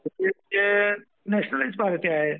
Nationalised party आहे.